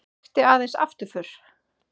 Þekkti aðeins afturför.